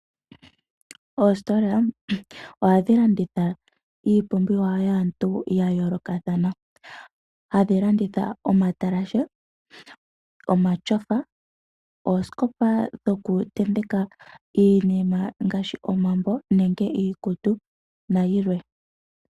Oositola ohadhi landitha iipumbiwa yaantu yayoolokathana . Ohadhi landitha omatalashe, oosikopa shokutenteka iinima ngaashi omambo nenge iikutu nayilwe.